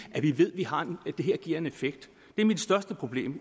vi ved giver en effekt det er mit største problem